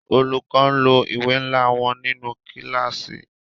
Olùkọ n lo ìwé nla wọn nínú kílàsì.